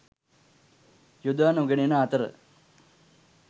යොදානොගැනෙන අතර